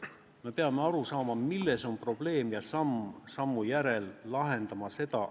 Me peame aru saama, milles on probleem, ja samm sammu järel lahendama seda.